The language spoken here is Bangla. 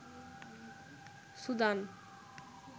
সুদান